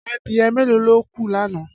Adìyẹ mélòó ló kú lánàá?